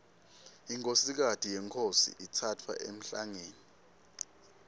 inkhosikati yenkhosi itsatfwa emhlangeni